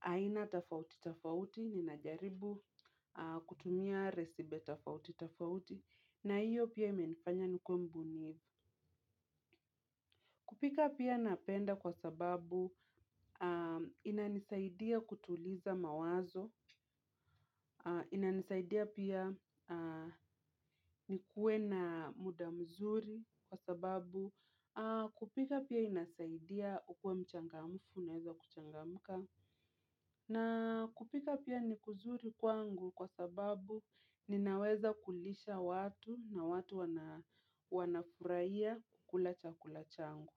aina tofauti tofauti. Ninajaribu kutumia resipe tofauti tofauti. Na hiyo pia imenifanya nikuww mbunifu. Kupika pia napenda kwa sababu inanisaidia kutuliza mawazo, inanisaidia pia nikuwe na muda mzuri kwa sababu, kupika pia inasaidia ukuwe mchangamfu, unaweza kuchangamka, na kupika pia ni kuzuri kwangu kwa sababu ninaweza kulisha watu na watu wanafurahia kukula chakula changu.